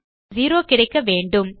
இப்போது நமக்கு செரோ கிடைக்க வேண்டும்